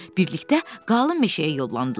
Birlikdə qalın meşəyə yollandılar.